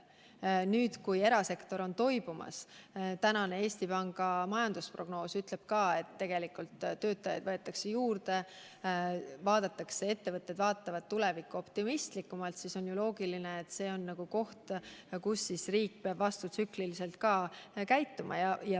Nüüd, kui erasektor on toibumas – tänane Eesti Panga majandusprognoos ütleb ka, et töötajaid võetakse juurde, ettevõtted vaatavad tulevikku optimistlikumalt –, siis on ju loogiline, et riik peab vastutsükliliselt käituma.